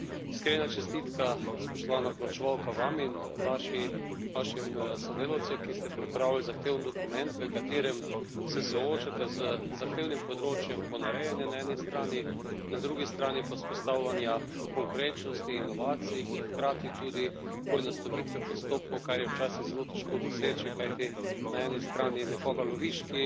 Iskrena čestitka, spoštovana poročevalka, vam in vašim sodelavcem, ki ste pripravili zahteven dokument, v katerem se soočate z zahtevnim področjem ponarejanja na eni strani, na drugi strani pa vzpostavljanja konkurenčnosti, inovacij in hkrati tudi poenostavitve postopkov, kar je včasih zelo težko doseči, kajti na eni strani nekoga loviš, ki